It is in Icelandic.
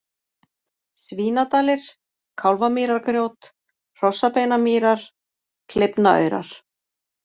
Svínadalir, Kálfamýrargrjót, Hrossabeinamýrar, Kleifnaaurar